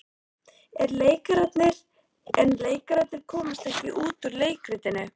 En leikararnir komast ekki út úr leikritinu.